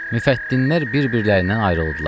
Müfəttinlərin bir-birlərindən ayrıldılar.